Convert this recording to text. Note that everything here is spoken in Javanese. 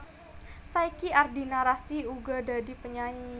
Saiki Ardina Rasti uga dadi penyanyi